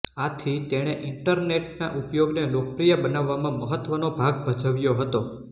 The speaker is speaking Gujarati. આથી તેણે ઇન્ટરનેટના ઉપયોગને લોકપ્રિય બનાવવામાં મહત્વનો ભાગ ભજવ્યો હતો